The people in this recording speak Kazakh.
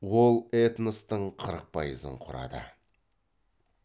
ол этностың қырық пайызын құрады